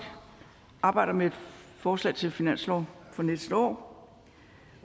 arbejder med et forslag til finanslov for næste år